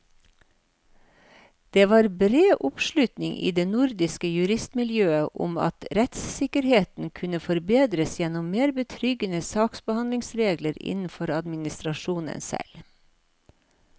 Det var bred oppslutning i det nordiske juristmiljøet om at rettssikkerheten kunne forbedres gjennom mer betryggende saksbehandlingsregler innenfor administrasjonen selv.